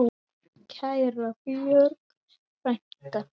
Kæra Björg frænka.